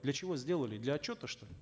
для чего сделали для отчета что ли